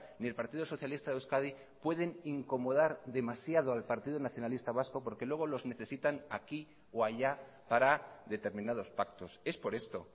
ni el partido socialista de euskadi pueden incomodar demasiado al partido nacionalista vasco porque luego los necesitan aquí o allá para determinados pactos es por esto